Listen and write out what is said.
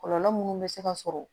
Kɔlɔlɔ munnu bɛ se ka sɔrɔ